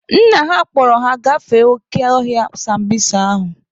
Nna ha kpọrọ ha gafee oke ọhịa sambisa ahụ.